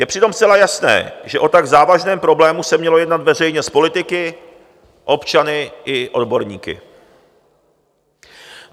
Je přitom zcela jasné, že o tak závažném problému se mělo jednat veřejně s politiky, občany i odborníky.